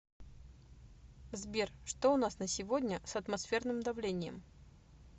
сбер что у нас на сегодня с атмосферным давлением